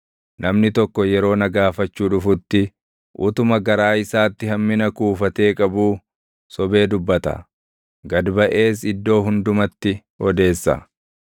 Namni tokko yeroo na gaafachuu dhufutti, utuma garaa isaatti hammina kuufatee qabuu, sobee dubbata; gad baʼees iddoo hundumatti odeessa.